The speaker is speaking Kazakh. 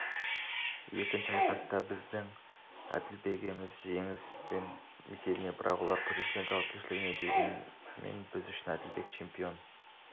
екінші айқаста біздің әділбегіміз жеңген есебінде бірақ ол төрешілердің жауапкершілігінде дегенмен біз үшін әділбек чемпион